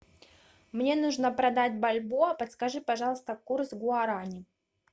мне нужно продать бальбоа подскажи пожалуйста курс гуарани